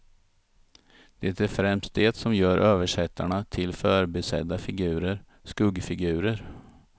Det är främst det som gör översättarna till förbisedda figurer, skuggfigurer.